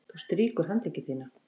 Þú strýkur handleggi þína.